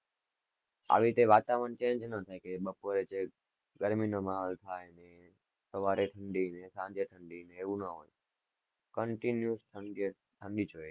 અને આવી રીતે વાતાવરણ change નાં થાય કે બપોરે ગરમી નો માહોલ થાય કે સવારે ઠંડી ક સાંજે ઠંડી એવું ન હોય continue ઠંડી ઠંડી જ હોય.